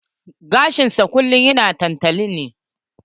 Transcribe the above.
Gashin sa kullum yana tantali ne.